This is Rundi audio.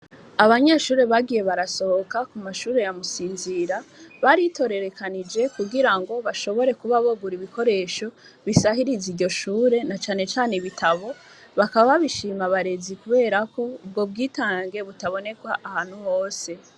Abanyeshure bagiye barasohoka ku mashure ya Musinzira, baritororokanije kugira ngo bashobore kuba bogura ibikoresho bisahiriza iryo shure, na cane cane ibitabo, bakaba babishima abarezi ubwo bwitange butaboneka ahantu hose.